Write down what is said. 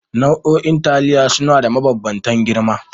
Nau'o'in taliya suna da mabambantan girma